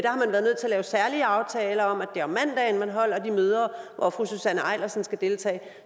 lave særlige aftaler om at er om mandagen man holder de møder hvor fru susanne eilersen skal deltage